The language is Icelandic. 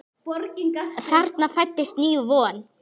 Þarna fæddist ný von.